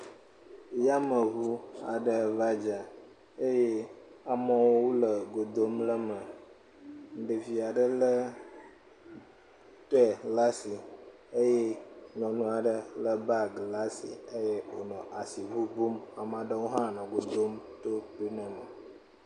Yameŋu aɖe va dze eye amewo le go dom le eme. Ɖevi aɖe lé pɛ ɖe asi eye nyɔnu aɖe lé bagi ɖe asi eye wonɔ asi ŋuŋum, ame aɖewo hã nɔ go dom to …